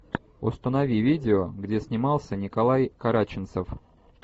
установи видео где снимался николай караченцев